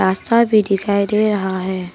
अच्छा भी दिखाई दे रहा है।